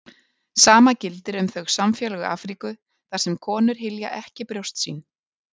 Sama gildir um þau samfélög Afríku þar sem konur hylja ekki brjóst sín.